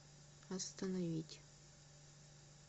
остановить